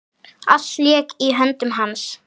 Allt lék í höndum hans.